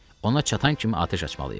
Ona çatan kimi atəş açmalıyıq.